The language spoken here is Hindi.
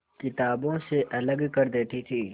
किताबों से अलग कर देती थी